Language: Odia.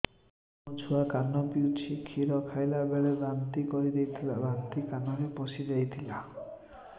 ମୋ ଛୁଆ କାନ ପଚୁଛି କ୍ଷୀର ଖାଇଲାବେଳେ ବାନ୍ତି କରି ଦେଇଥିଲା ବାନ୍ତି କାନରେ ପଶିଯାଇ ଥିଲା